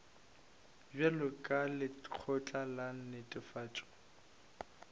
bjalo ka lekgotla la netefatšo